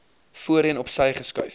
voorheen opsy geskuif